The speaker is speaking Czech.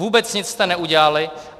Vůbec nic jste neudělali.